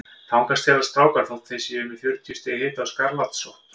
Þangað stelast strákar þótt þeir séu með fjörutíu stiga hita og skarlatssótt.